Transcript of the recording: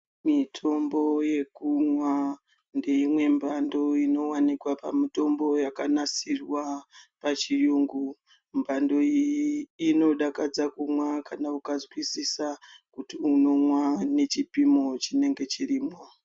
Mitombo yekumwa ndeimwe mbando inowanikwa pamutombo yakanasirwa pachiyungu. Mbando iyi inodakadza kumwa kana ukazwisisa kuti unomwa nechipimo chinenge chirimwo.